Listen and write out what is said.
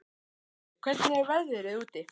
Uxi, hvernig er veðrið úti?